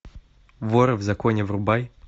воры в законе врубай